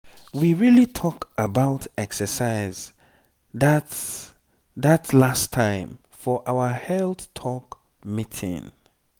we really talk about exercise that that last time for our health talk meeting.